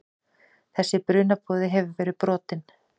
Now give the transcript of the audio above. Þessi brunaboði hefur verið brotinn.